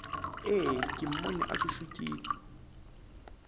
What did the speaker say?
ee ke mmone a šušukile